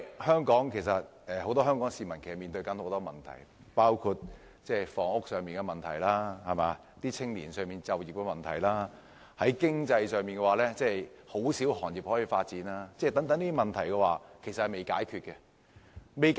香港市民其實面對很多問題，包括房屋問題，青年就業的問題，而經濟方面亦只有很少行業可以發展，這些問題均有待解決。